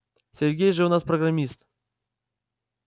сергей же у нас программист